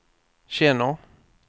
känner